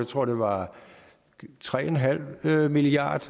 tror det var tre en halv milliard